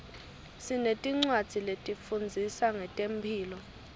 sinetincwadzi letifundzisa ngetemphilo